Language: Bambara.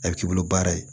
A bɛ k'i bolo baara ye